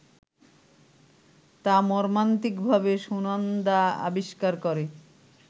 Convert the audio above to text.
তা মর্মান্তিকভাবে সুনন্দা আবিষ্কার করে